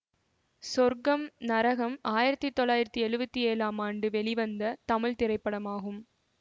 சொர்க்கம் நரகம் ஆயிரத்தி தொள்ளாயிரத்தி எழுவத்தி ஏழாம் ஆண்டு வெளிவந்த தமிழ் திரைப்படமாகும்